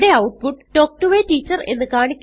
ഇവിടെ ഔട്ട്പുട്ട് തൽക്ക് to a teacher